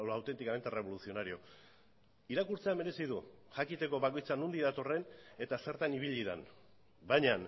auténticamente revolucionario irakurtzea merezi du jakiteko bakoitza nondik datorren eta zertan ibili den baina